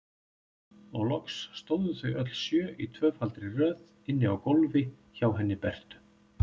Og loks stóðu þau öll sjö í tvöfaldri röð inni á gólfi hjá henni Bertu.